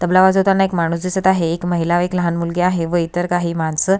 तबला वाजवताना एक माणूस दिसत आहे एक महिला व एक लहान मुलगी आहे व इतर काही माणसं--